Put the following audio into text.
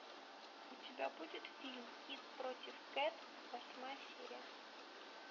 у тебя будет фильм кит против кэт восьмая серия